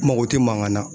N mago tɛ mankan na